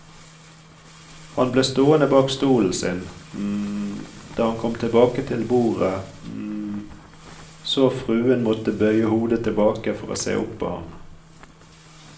Han ble stående bak stolen sin da han kom tilbake til bordet, så fruen måtte bøye hodet tilbake for å se opp på ham.